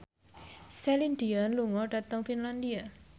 Celine Dion lunga dhateng Finlandia